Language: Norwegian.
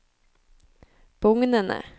bugnende